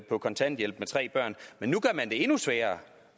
på kontanthjælp med tre børn men nu gør man det endnu sværere